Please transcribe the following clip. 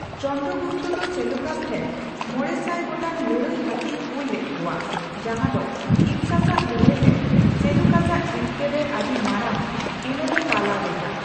ᱪᱚᱱᱫᱨᱚ ᱜᱩᱯᱛᱚ ᱫᱚ ᱥᱮᱞᱩᱠᱟᱥ ᱴᱷᱮᱱ ᱕᱐᱐ ᱢᱚᱲᱮᱥᱟᱭ ᱜᱚᱴᱟᱝ ᱞᱟᱹᱲᱦᱟᱹᱭ ᱦᱟᱹᱛᱤᱭ ᱠᱩᱞ ᱞᱮᱫᱠᱩᱣᱟ, ᱡᱟᱦᱟ ᱫᱚ ᱤᱯᱥᱟᱥᱟᱜ ᱞᱟᱹᱲᱦᱟᱹᱭ ᱨᱮ ᱥᱮᱞᱩᱠᱟᱥᱟᱜ ᱡᱤᱛᱠᱟᱹᱨ ᱨᱮ ᱟᱹᱰᱤ ᱢᱟᱨᱟᱝ ᱮᱱᱮᱢᱼᱮ ᱯᱟᱞᱟᱣ ᱞᱮᱫᱟ ᱾